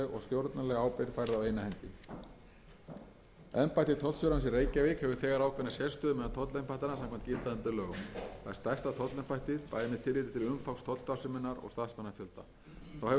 tollstjórans í reykjavík hefur þegar ákveðna sérstöðu meðal tollembættanna samkvæmt gildandi lögum það er stærsta tollembættið bæði með tilliti til umfangs tollstarfseminnar og starfsmannafjölda þá hefur það embætti þegar á hendi tiltekið miðlægt hlutverk í tollamálum